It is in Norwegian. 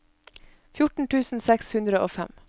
fjorten tusen seks hundre og fem